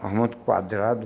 de quadrado.